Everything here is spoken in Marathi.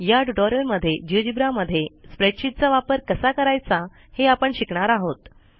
या ट्युटोरियलमध्ये Geogebraमध्ये स्प्रेडशीटचा वापर कसा करायचा हे आपण शिकणार आहोत